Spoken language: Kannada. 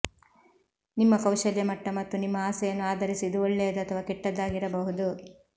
ನಿಮ್ಮ ಕೌಶಲ್ಯ ಮಟ್ಟ ಮತ್ತು ನಿಮ್ಮ ಆಸೆಯನ್ನು ಆಧರಿಸಿ ಇದು ಒಳ್ಳೆಯದು ಅಥವಾ ಕೆಟ್ಟದ್ದಾಗಿರಬಹುದು